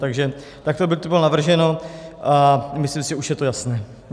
Takto by to bylo navrženo a myslím si, že už je to jasné.